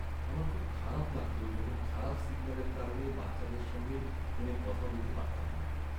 আমার খুব খারাপ লাগত যখন খারাপ সিগন্যালের কারণে বাচ্চাদের সঙ্গে ফোনে কথা বলতে পারতাম না।